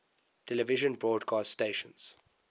television broadcast stations